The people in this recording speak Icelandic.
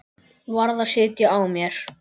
Varð að sitja á mér.